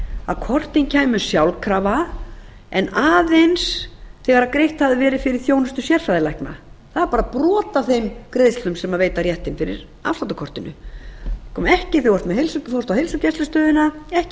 að kortin kæmu sjálfkrafa en aðeins þegar greitt ha að verið fyrir þjónustu sérfræðilækna það er bara brot af þeim greiðslum sem veita réttinn fyrir afsláttakortinu það komi ekki þegar þú fórst á heilsugæslustöðina ekki á